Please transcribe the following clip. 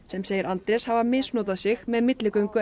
sem segir Andrés hafa misnotað sig með milligöngu